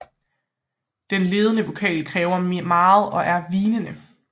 Den ledende vokal kræver meget og er hvinende